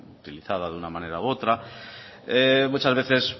utilizada de una manera u otra muchas veces